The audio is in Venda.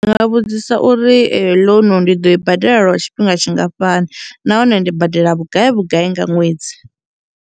Ndi nga vhudzisa uri eyo loan ndi ḓo i badela lwa tshifhinga tshingafhani nahone ndi badela vhugai vhugai nga ṅwedzi.